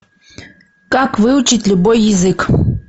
как выучить любой язык